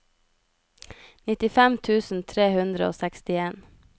nittifem tusen tre hundre og sekstien